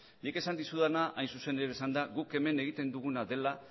nik esan dizudana hain zuzen ere izan da guk hemen egiten duguna dela